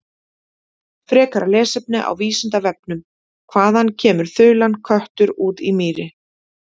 Frekara lesefni á Vísindavefnum: Hvaðan kemur þulan köttur út í mýri.